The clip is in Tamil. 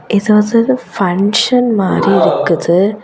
இது வது பன்ஷன் மாரி இருக்குது.